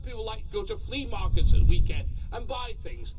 A lot of people like to go to flea markets at the weekend and buy things.